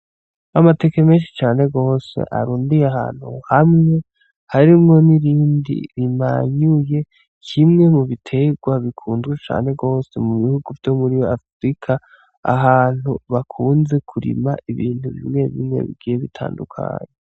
Amateke menshi cane gose arundiye ahantu hamwe harimwo n'irindi rimanyuye, kimwe mu biterwa bikunzwe cane gose mu bihugu vyo muri Afurika, ahantu bakunze kurima ibintu bigiye bitandukanye.